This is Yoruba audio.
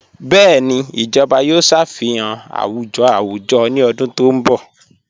Bẹẹni, ijọba yòò ṣáfíhàn àwùjọ̀ àwùjọ̀ ní ọ̀dún tó nbọ̀.